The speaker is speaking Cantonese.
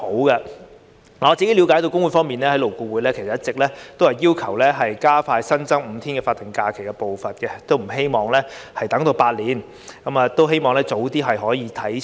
據我對工會方面的了解，勞工顧問委員會一直也要求加快新增5天法定假日的步伐，不希望等足8年，而是希望兩類假期的日數可以早日看齊。